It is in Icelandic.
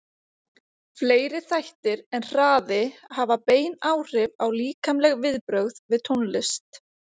Fleiri þættir en hraði hafa bein áhrif á líkamleg viðbrögð við tónlist.